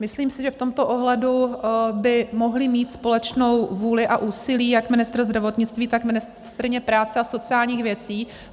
Myslím si, že v tomto ohledu by mohli mít společnou vůli a úsilí jak ministr zdravotnictví, tak ministryně práce a sociálních věcí.